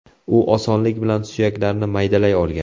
U osonlik bilan suyaklarni maydalay olgan.